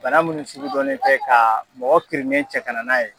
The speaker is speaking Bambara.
Bana munnu sugudɔnnen tɛ kaa mɔgɔ kirinen cɛ kana n'a ye